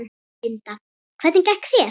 Linda: Hvernig gekk þér?